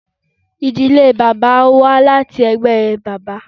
Ìdílé bàbá wá láti ẹgbẹ bàbá.